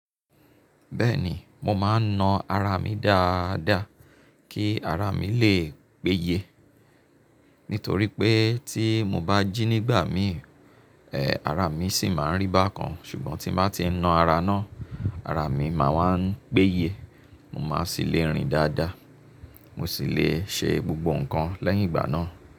Bẹ́ẹ̀ni, mo máa ń na ara mi dáadáa kí ara mi lè gbéye. Nítorí pé tí mo bá jí nígbà mí, ẹ, ara mi sì máa ń rí bá kan. Ṣùgbọ́n tí mo bá ti ń na ara náà, ara mi máa ń wá péye. Mo máa sì lè rìn dáadáa. Mo sì lè ṣe gbogbo ǹkan lẹ́yìn ìgbà náà.